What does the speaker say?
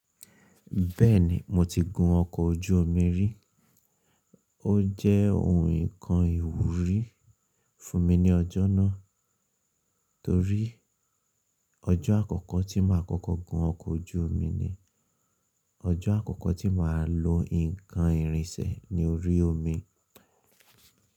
Bẹ́ẹ̀ni, mo ti gun ọkọ̀ ojú omi rí. Ó jẹ́ ohun nǹkan ìwúrí fún mi ní ọjọ́ náà torí ọjọ́ àkọ́kọ́ tí mà á kọ́kọ́ gun ọkọ̀ ojú omi ni, ọjọ́ àkọ́kọ́ tí mà á lo nǹkan ìrìnsẹ̀ ní orí omi.